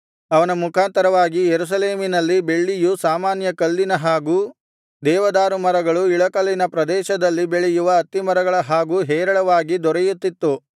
ಅವನ ಮುಖಾಂತರವಾಗಿ ಯೆರೂಸಲೇಮಿನಲ್ಲಿ ಬೆಳ್ಳಿಯು ಸಾಮಾನ್ಯ ಕಲ್ಲಿನ ಹಾಗೂ ದೇವದಾರುಮರಗಳು ಇಳಕಲಿನ ಪ್ರದೇಶದಲ್ಲಿ ಬೆಳೆಯುವ ಅತ್ತಿಮರಗಳ ಹಾಗೂ ಹೇರಳವಾಗಿ ದೊರೆಯುತ್ತಿತ್ತು